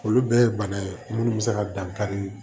Olu bɛɛ ye bana ye minnu bɛ se ka dankari